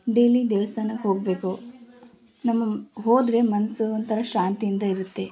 Daily ದೇವಸ್ಥಾನಕ್ಕೆ ಹೋಗ್ಬೇಕು ನಮ್ಮ ಹೋದ್ರೆ ಮನ್ಸು ಒಂಥರಾ ಶಾಂತಿಯಿಂದ ಇರುತ್ತೆ.